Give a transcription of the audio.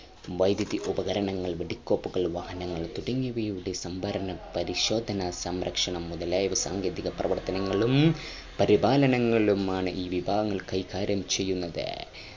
വൈദ്യുതി ഉപകരണങ്ങൾ വെടിക്കോപ്പുകൾ വാഹനങ്ങൾ തുടങ്ങിയവയുട സംഭരണ പരിശോധന സംരക്ഷണ മുതലായവ സാങ്കേതിക പ്രവർത്തനങ്ങളു പരിപാലങ്ങളുമാണ് ഈ വിഭാഗം കൈകാര്യം ചെയ്യുന്നത്